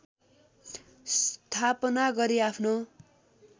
स्थापना गरी आफ्नो